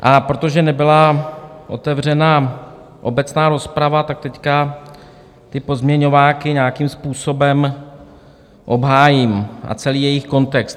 A protože nebyla otevřena obecná rozprava, tak teď ty pozměňováky nějakým způsobem obhájím, a celý jejich kontext.